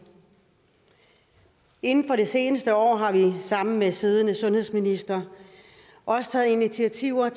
inden for det seneste år har vi sammen med den siddende sundhedsminister også taget initiativer